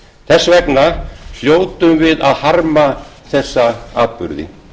þess vegna hljótum við að harma þessa atburði